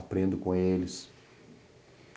Aprendo com eles.